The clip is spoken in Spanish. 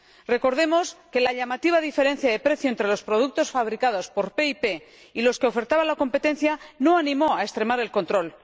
Recordemos que la llamativa diferencia de precio entre los productos fabricados por PIP y los que ofertaba la competencia no animó a extremar el control.